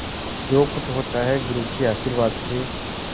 जो कुछ होता है गुरु के आशीर्वाद से